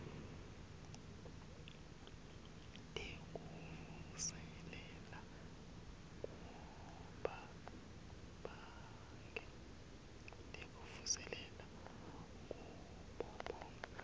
tekuvuselela kubo bonkhe